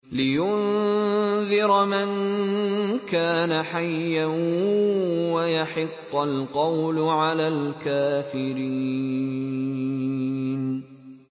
لِّيُنذِرَ مَن كَانَ حَيًّا وَيَحِقَّ الْقَوْلُ عَلَى الْكَافِرِينَ